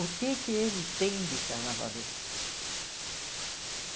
O que é que ele tem de carnavalesco?